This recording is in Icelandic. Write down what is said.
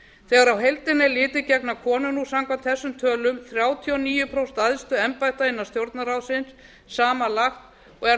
þegar á heildina er litið gegna konur nú samkvæmt þessum tölum þrjátíu og níu prósent æðstu embætta innan stjórnarráðsins samanlagt og er